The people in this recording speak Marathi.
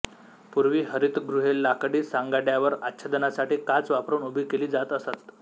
पूर्वी हरितगृहे लाकडी सांगाड्यावर आच्छादनासाठी काच वापरून उभी केली जात असत